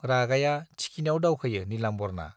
रागाया थिखिनियाव दावखोयो नीलाम्बरना।